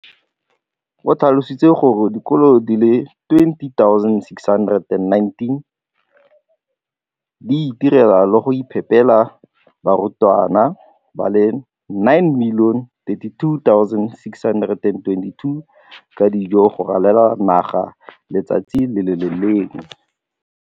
O tlhalositse gore dikolo di le 20 619 di itirela le go iphepela barutwana ba le 9 032 622 ka dijo go ralala naga letsatsi le lengwe le le lengwe.